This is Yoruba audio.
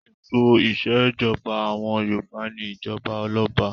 Ètò ìṣèjọba àwọn Yorùbá ni ìjọba ọlọ́ba.